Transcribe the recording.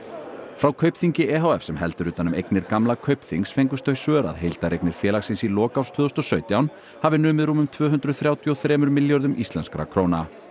frá Kaupþingi e h f sem heldur utan um eignir gamla Kaupþings fengust þau svör að heildareignir félagsins í lok árs tvö þúsund og sautján hafi numið rúmum tvö hundruð þrjátíu og þremur milljörðum íslenskra króna